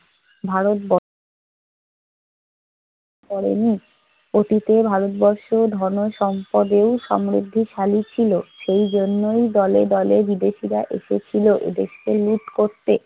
ভারতব করেনি। অতীতের ভারতবর্ষ ধনে-সম্পদে সমৃদ্ধিশালী ছিল, সেই জন্যই দলে দলে বিদেশীরা এসেছিল এদেশকে লুট করতে।